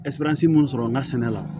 mun sɔrɔ an ka sɛnɛ la